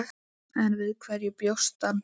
En við hverju bjóst hann?